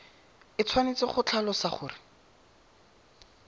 e tshwanetse go tlhalosa gore